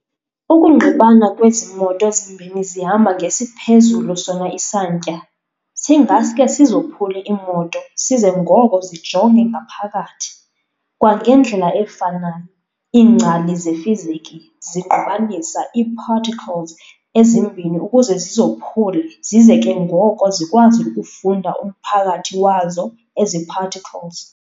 Ukungqibana kwezi moto zimbini zihamba ngesiphezulu sona isantya, singaske sizophule iimoto size ngoko zijonge ngaphakathi. Kwangendlela efanayo, iingcali zefiziki zingqubanisa ii-particles ezimbini ukuze zizophule zize ke ngoko zikwazi ukufunda umphakathi wazo ezi particles.